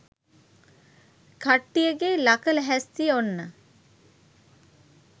කට්ටියගේ ලක ලැහැස්තිය ඔන්න.